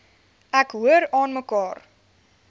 ek hoor aanmekaar